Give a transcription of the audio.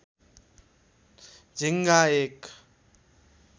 झिङ्गा एक